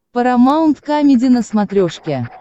парамаунт камеди на смотрешке